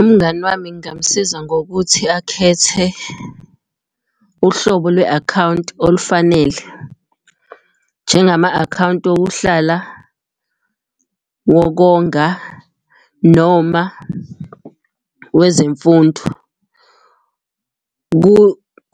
Umngani wami ngingamusiza ngokuthi akhethe uhlobo lwe-akhawunti olufanele, njengama-akhawunti okuhlala ngokonga noma wezemfundo.